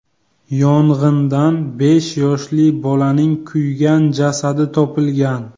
Yong‘indan besh yoshli bolaning kuygan jasadi topilgan.